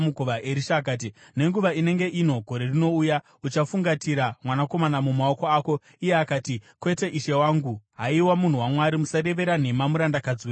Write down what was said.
Erisha akati, “Nenguva inenge ino gore rinouya, uchafungatira mwanakomana mumaoko ako.” Iye akati, “Kwete, ishe wangu. Haiwa munhu waMwari, musarevera nhema murandakadzi wenyu!”